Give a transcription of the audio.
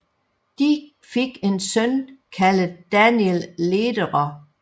De fik en søn kaldet Daniel Lederer